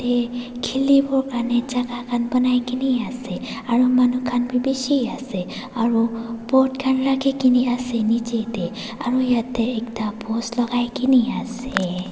ee khele bo karne jana khan banai kena ase aro manu khan beh beshe ase aro boat rakhe kena ase nejey te aro yate ekta post lakai kene ase.